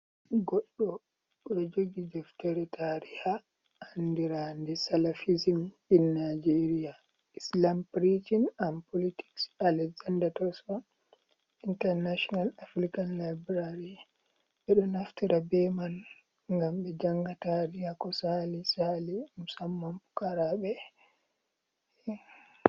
Goɗɗo ɗo jogi deftere tariha andirande Salafism in Nigeria Islam pricin an politiks, Alexander Thurston. intanashonal African laibrari. Ɓe ɗo naftira be man ngam be janga tariha ko sali-sali, musamman pukaraɓe.